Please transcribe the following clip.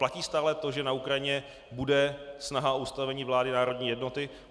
Platí stále to, že na Ukrajině bude snaha o ustavení vlády národní jednoty?